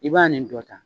I b'a nin dɔ ta